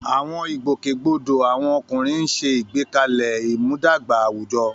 Àwọn ìgbòkègbodò àwọn ọkùnrin ń ṣe àgbékalẹ̀ ìmúdàgba àwùjọ.